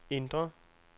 indre